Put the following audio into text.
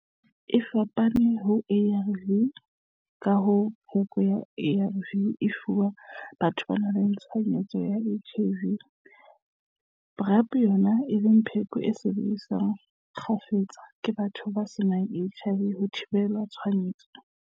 E fapane ho ARV ka ha pheko ya ARV e fuwa batho ba nang le tshwaetso ya HIV, PrEP yona e le pheko e sebediswang kgafetsa ke batho ba senang HIV ho thibela tshwaetso.